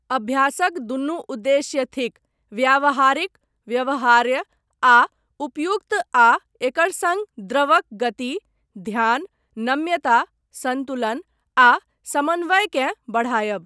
अभ्यासक दुनू उद्देश्य थिक व्यावहारिक, व्यवहार्य आ उपयुक्त आ एकर सङ्ग द्रवक गति, ध्यान, नम्यता, सन्तुलन आ समन्वयकेँ बढ़ायब।